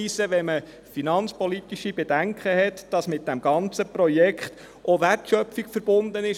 Wenn man finanzpolitische Bedenken hat, möchte ich auch darauf hinweisen, dass mit diesem ganzen Projekt auch Wertschöpfung verbunden ist.